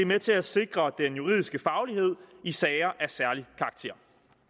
med til at sikre den juridiske faglighed i sager af særlig karakter